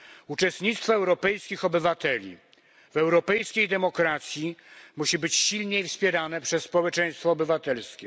Uczestnictwo europejskich obywateli w europejskiej demokracji musi być silniej wspierane przez społeczeństwo obywatelskie.